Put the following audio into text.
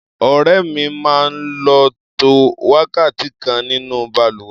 Ọ̀rẹ́ mi máa ń lò tó wákàtí kan nínú balùwẹ̀.